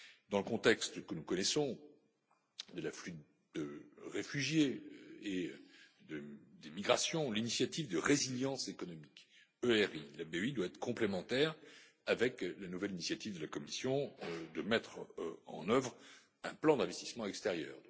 Dans le contexte que nous connaissons, de l'afflux de réfugiés et des migrations, l'initiative de résilience économique la BEI doit être complémentaire avec la nouvelle initiative de la Commission de mettre en œuvre un plan d'investissement extérieur.